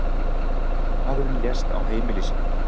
Maðurinn lést á heimili sínu.